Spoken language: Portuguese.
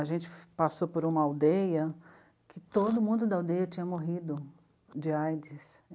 A gente passou por uma aldeia em que todo mundo da aldeia tinha morrido de á i dê sê.